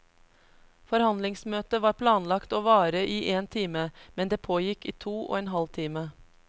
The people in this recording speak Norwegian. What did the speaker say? Forhandlingsmøtet var planlagt å vare i en time, men det pågikk i to og en halv time.